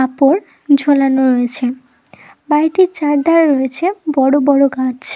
কাপড় ঝোলানো রয়েছে। বাড়িতে চারদিকে রয়েছে বড় বড় গাছ।